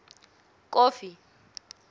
kofi